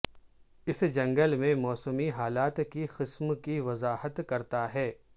اس جنگل میں موسمی حالات کی قسم کی وضاحت کرتا ہے